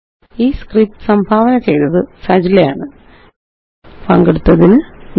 ഈ സ്ക്രിപ്റ്റ് സംഭാവന ചെയ്തത് നന്ദി